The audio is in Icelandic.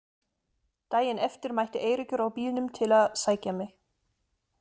Daginn eftir mætti Eiríkur á bílnum til að sækja mig.